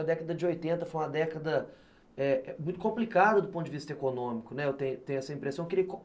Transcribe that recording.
A década de oitenta foi uma década muito complicada do ponto de vista econômico, né, eu tenho tenho essa impressão.